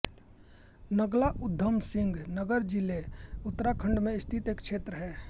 नाग्ला उधम सिंह नगर जिला उत्तराखंड में स्थित एक क्षेत्र है